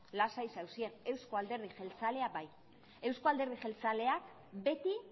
lasai zaudeten eusko alderdi jeltzalea bai eusko alderdi jeltzaleak beti